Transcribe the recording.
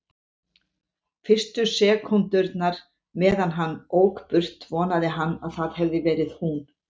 Fyrstu sekúndurnar meðan hann ók burt vonaði hann að það hefði verið hún.